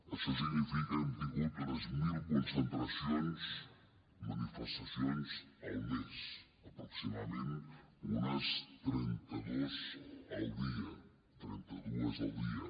això significa que hem tingut unes mil concentracions manifestacions al mes aproximadament unes trenta dues al dia